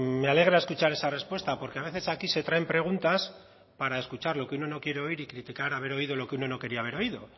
me alegra escuchar esa respuesta porque a veces aquí se traen preguntas para escuchar lo que uno no quiero oír y criticar haber oído lo que uno no quería haber oído